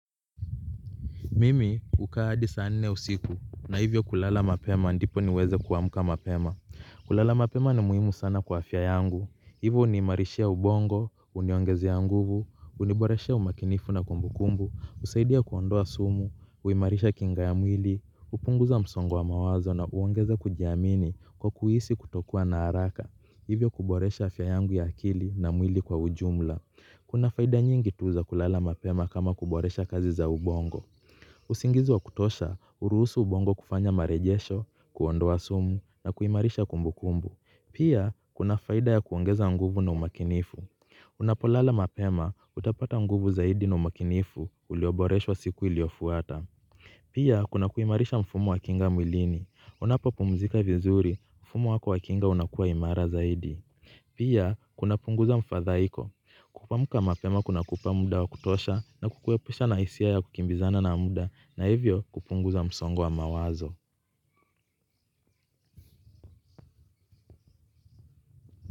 Mimi hukaa hadi saa nne usiku na hivyo kulala mapema ndipo niweze kuamka mapema. Kulala mapema ni muhimu sana kwa afya yangu. Hivyo huniimarishia ubongo, huniongeza nguvu, huniboreshea umakinifu na kumbukumbu, husaidia kuondoa sumu, huimarisha kinga ya mwili, hupunguza msongo wa mawazo na huongeza kujiamini kwa kuhisi kutokuwa na haraka. Hivyo kuboresha afya yangu ya akili na mwili kwa ujumla. Kuna faida nyingi tu za kulala mapema kama kuboresha kazi za ubongo. Uzingizi wa kutosha, huruhusu ubongo kufanya marejesho, kuondoa sumu na kuimarisha kumbu kumbu. Pia, kuna faida ya kuongeza nguvu na umakinifu. Unapolala mapema, utapata nguvu zaidi na umakinifu, ulioboreshwa siku iliofuata. Pia, kuna kuimarisha mfumo wa kinga mwilini. Unapopumzika vizuri, mfumo wa kwa kinga unakuwa imara zaidi. Pia, kunapunguza mfadhaiko. Kuamka mapema kuna kupa muda wa kutosha na kukuepusha na hisia ya kukimbizana na mda na hivyo kupunguza msongo wa mawazo.